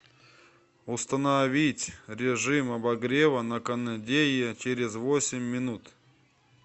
установить режим обогрева на кондее через восемь минут